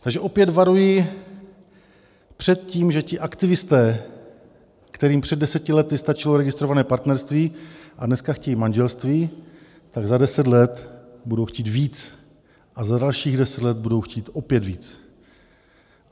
Takže opět varuji před tím, že ti aktivisté, kterým před deseti lety stačilo registrované partnerství a dneska chtějí manželství, tak za deset let budou chtít víc a za dalších deset let budou chtít opět víc.